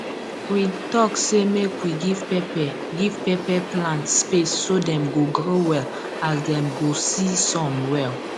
we talk say make we give pepper give pepper plant space so dem go grow well as dem go see sun well